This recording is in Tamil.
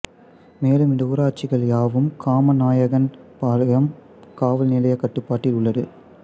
மேலும் இந்த ஊராட்சிகள் யாவும் காமநாயக்கன் பாளையம் காவல்நிலைய கட்டுப்பாட்டில் உள்ளது